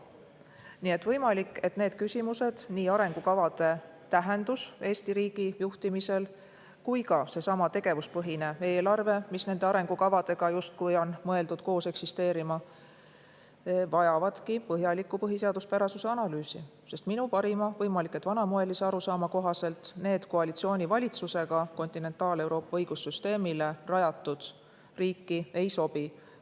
Nii et võimalik, et need küsimused, nii arengukavade tähendus Eesti riigi juhtimisel kui ka seesama tegevuspõhine eelarve, mis on nende arengukavadega justkui mõeldud koos eksisteerima, vajavadki põhjalikku põhiseaduspärasuse analüüsi, sest minu parima – võimalik, et vanamoelise – arusaama kohaselt need Kontinentaal-Euroopa õigussüsteemile rajatud, koalitsioonivalitsusega riiki ei sobi.